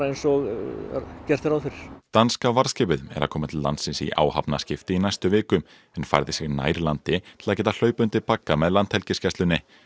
eins og gert er ráð fyrir danska varðskipið er að koma til landsins í áhafnaskipti í næstu viku en færði sig nær landi til að geta hlaupið undir bagga með Landhelgisgæslunni